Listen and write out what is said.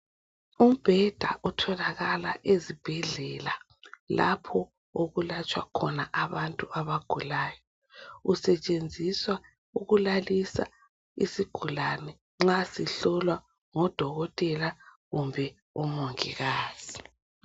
Umbheda otholakala ezibhedlela lapho okulatshwa khona abantu abagulayo. Usetshenziswa ukulalisa isigulane nxa sihlolwa ngodokotela kumbe omongikazi.